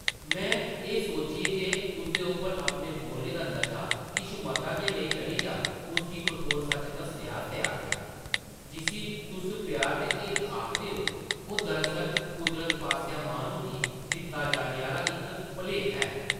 में एह् सोचियै जे उसदे उप्पर अपने बोलने दा नशा किश मता गै नेईं चढ़ी जाऽ, उसगी कठोर सच्च दस्सने आस्तै आखेआ, जिसी तुस प्यार ते हिरख आखदे ओ, ओह् दरअसल कुदरत पासेआ माह्नू गी दित्ता जाने आह्ला इक भलेखा ऐ ।